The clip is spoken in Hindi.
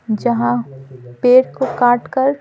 जहाँ पेड़ को काटकर--